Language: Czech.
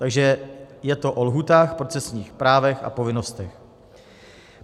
Takže je to o lhůtách, procesních právech a povinnostech.